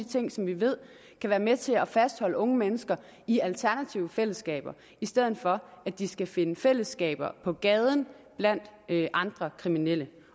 ting som vi ved kan være med til at fastholde unge mennesker i alternative fællesskaber i stedet for at de skal finde fællesskaber på gaden blandt andre kriminelle